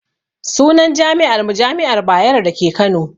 Sunan jami'ar mu jami'ar bayero dake kano